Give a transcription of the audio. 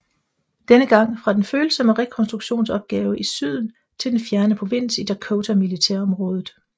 Denne gang fra den følsomme rekonstruktionsopgave i Syden til den fjerne provins i Dakota Militærområdet